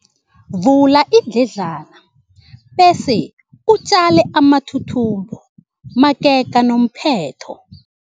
Vula iindledlana bese utjale amathuthumbo magega nomphetho.